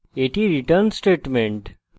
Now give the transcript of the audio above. এটি return statement